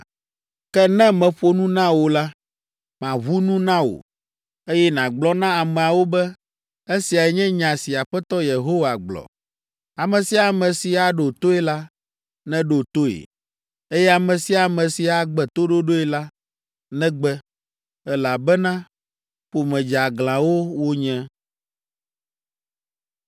Ke ne meƒo nu na wò la, maʋu nu na wò, eye nàgblɔ na ameawo be, ‘Esiae nye nya si Aƒetɔ Yehowa gblɔ.’ Ame sia ame si aɖo toe la, neɖo toe, eye ame sia ame si agbe toɖoɖoe la, negbe, elabena ƒome dzeaglãwo wonye.”